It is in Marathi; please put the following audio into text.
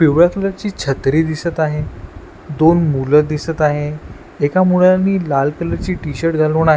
पिवळ्या कलर ची छत्री दिसत आहे दोन मुलं दिसत आहे एका मुलानी लाल कलर ची टी-शर्ट घालून--